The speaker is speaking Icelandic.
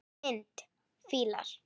Mynd: Fílar